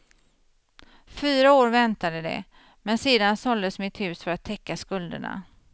Fyra år väntade de, men sedan såldes mitt hus för att täcka skulderna.